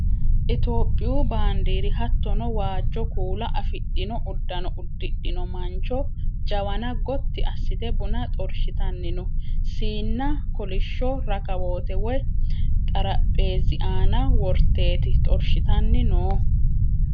Itiyoophiyu baandiiri hattono waajjo kuula afhidhino uddano uddidhino mancho jawana Gotti assite buna xorshitanni no.siinna kolishsho rakawoote woyi xarapheezzi aana worteeti xorshitanni noohu.